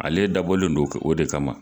Ale dabɔlen don, o de kama.